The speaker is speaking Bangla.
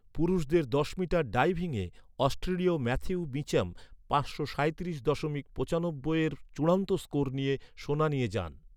পুরুষদের দশ মিটার ডাইভিংয়ে অস্ট্রেলীয় ম্যাথিউ মিচ্যাম পাঁচশো সাঁইত্রিশ দশমিক নয় পাঁচ চূড়ান্ত স্কোর নিয়ে সোনা নিয়ে যান।